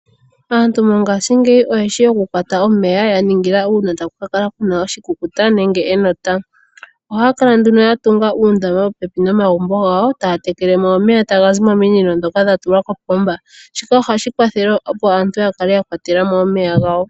Aantu mongaashingeyi oyeshi oku kwata omeya, ya ningila uuna taku ka kala kuna oshikukuta nenge enota. Ohaa kala nduno ya tunga uundama popepi nomagumbo gawo, e taa tekelemo omeya tagazi mominino ndhoka dha tulwa kopomba. Shika ohashi kwathele opo aantu ya kale ya kwatelamo omeya gawo.